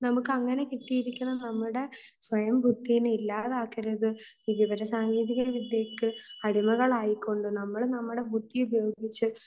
നമുക്കങ്ങനെ കിട്ടിയിരിക്കണം നമ്മുടെ സ്വയം ബുദ്ധി നെ ഇല്ലാതാക്കരുത്. ഈ വിവര സാങ്കേതിക വിദ്യയ്ക്ക് അടിമകളായി കൊണ്ട് നമ്മൾ നമ്മളുടെ ബുദ്ധി ഉപയോഗിച്ച്